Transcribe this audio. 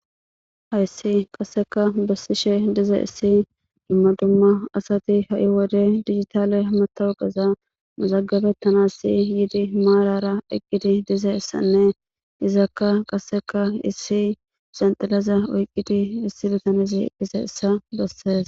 hayssi qasseka bessishe dize issi dumma dumma asati ha7i wode digitale matawugaza muzagabettanasi yiidi maalara eqqidi dize issanne izakka qasseka issi zanxilaza oyqqidi issi litanezi eqqise issa bessees